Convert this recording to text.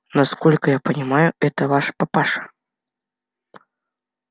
насколько я понимаю это ваш папаша